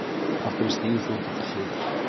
Af hverju stígur þú ekki til hliðar?